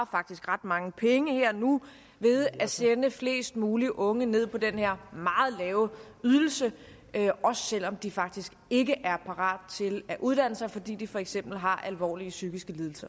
faktisk ret mange penge her og nu ved at sende flest mulige unge ned på den her meget lave ydelse også selv om de faktisk ikke er parat til at uddanne sig fordi de for eksempel har alvorlige psykiske lidelser